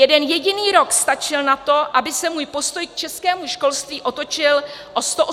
Jeden jediný rok stačil na to, aby se můj postoj k českému školství otočil o 180 stupňů.